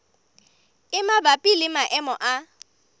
e mabapi le maemo a